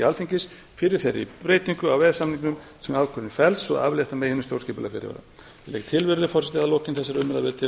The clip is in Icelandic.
alþingis fyrir þeirri breytingu á e e s samningnum sem ákvörðun fellst svo aflétta megi hinum stjórnskipulega fyrirvara ég legg til virðulegi forseti